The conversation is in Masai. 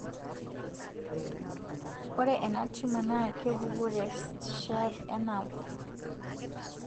ore ena tumour na kepuko te sheath e nerve